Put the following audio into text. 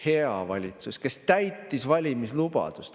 Hea valitsus, kes täitis valimislubaduse.